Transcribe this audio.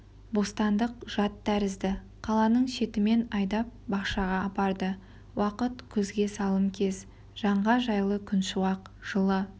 бостандық жат тәрізді қаланың шетімен айдап бақшаға апарды уақыт күзге салым кез жанға жайлы күншуақ жылы